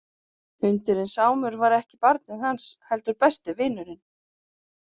Hundurinn Sámur var ekki barnið hans heldur besti vinurinn.